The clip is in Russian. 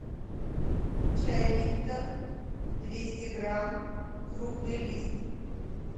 чай липтон двести грамм крупный лист